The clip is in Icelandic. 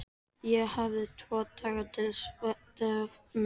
Ég hafði tvo daga til stefnu.